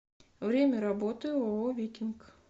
время работы ооо викинг